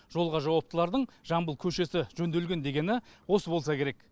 жолға жауаптылардың жамбыл көшесі жөнделген дегені осы болса керек